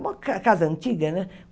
Uma ca casa antiga, né?